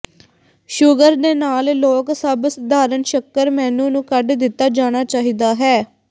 sugar ਦੇ ਨਾਲ ਲੋਕ ਸਭ ਸਧਾਰਨ ਸ਼ੱਕਰ ਮੇਨੂ ਨੂੰ ਕੱਢ ਦਿੱਤਾ ਜਾਣਾ ਚਾਹੀਦਾ ਹੈ